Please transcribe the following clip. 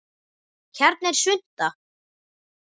Hérna er svunta